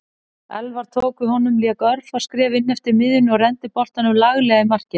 Elfar tók við honum lék örfá skref inneftir miðjunni og renndi boltanum laglega í markið.